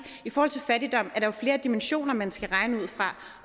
i forhold til fattigdom at der jo er flere dimensioner man skal regne ud fra